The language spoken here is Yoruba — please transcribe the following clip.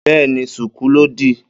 Bẹ́ẹ́ni, ṣùkú lòdí.